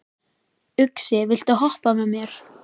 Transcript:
Uxi, viltu hoppa með mér?